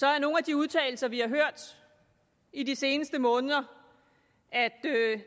er nogle af de udtalelser vi har hørt i de seneste måneder at